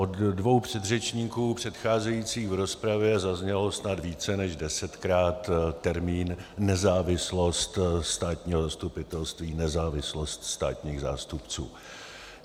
Od dvou předřečníků předcházejících v rozpravě zazněl snad více než desetkrát termín nezávislost státního zastupitelství, nezávislost státních zástupců.